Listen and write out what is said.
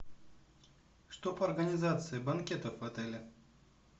что по организации банкетов в отеле